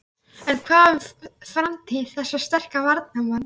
En hvað um framtíð þessa sterka varnarmanns?